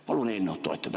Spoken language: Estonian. Palun eelnõu toetada!